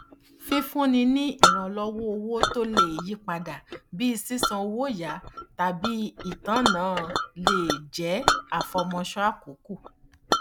fífúnni ní ìrànlọwọ owó tí ó lè yípadà bíi sísan owó yá tàbí itanna le jẹ àfọmọṣọ àkókò